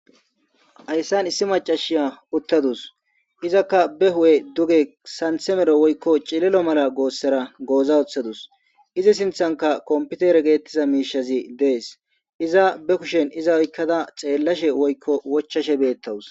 Hayisan issi macashiya uttadus izakka be hudhe duge santhe mero woyiko cililo mala goossera goozawoththadus izi sinthanka kompitere geettiza miishazi dees iza be kushen iza oykkada xeellashe woyiko wochashe beettawus